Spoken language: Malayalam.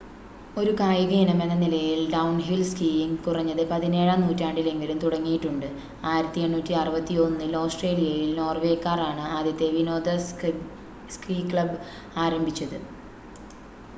ഒരു കായിക ഇനമെന്ന നിലയിൽ ഡൗൺഹിൽ സ്കീയിങ് കുറഞ്ഞത് പതിനേഴാം നൂറ്റാണ്ടിലെങ്കിലും തുടങ്ങിയിട്ടുണ്ട് 1861-ൽ ഓസ്‌ട്രേലിയയിൽ നോർവേക്കാർ ആണ് ആദ്യത്തെ വിനോദ സ്‌കീ ക്ലബ് ആരംഭിച്ചത്